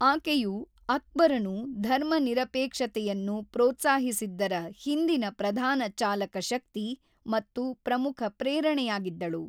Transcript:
ಆಕೆಯು ಅಕ್ಬರನು ಧರ್ಮನಿರಪೇಕ್ಷತೆಯನ್ನು ಪ್ರೋತ್ಸಾಹಿಸಿದ್ದರ ಹಿಂದಿನ ಪ್ರಧಾನ ಚಾಲಕಶಕ್ತಿ ಮತ್ತು ಪ್ರಮುಖ ಪ್ರೇರಣೆಯಾಗಿದ್ದಳು.